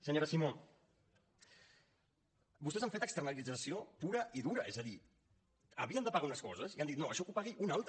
senyora simó vostès han fet externalització pura i dura és a dir havien de pagar unes coses i han dit no això que ho pagui un altre